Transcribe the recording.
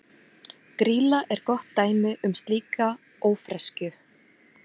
Grýla er gott dæmi um slíka ófreskju.